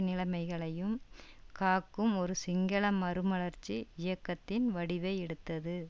நிலைமைகளையும் காக்கும் ஒரு சிங்கள மறுமலர்ச்சி இயக்கத்தின் வடிவை எடுத்தது